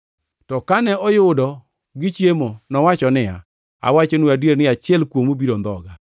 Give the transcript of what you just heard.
To kane oyudo gichiemo, nowacho niya, “Awachonu adier ni achiel kuomu biro ndhoga.”